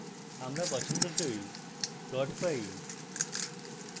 আমরা পছন্দসই plot পাই